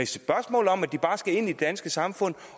spørgsmål om at de bare skal ind i det danske samfund